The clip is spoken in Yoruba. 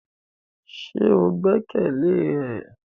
Ṣe o gbẹkẹle e?